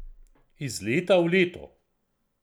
Iz leta v leto.